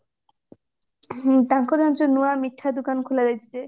ହଁ ତାଙ୍କର ଜାଣିଛୁ ନୂଆ ମିଠା ଦୋକାନ ଖୋଲା ହେଇଛି ଯେ